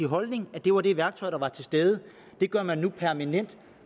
holdning at det var det værktøj der var til stede det gør man nu